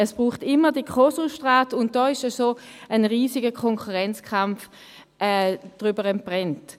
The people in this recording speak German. Es braucht immer die Co-Substrate, und da ist ein riesiger Konkurrenzkampf entbrannt.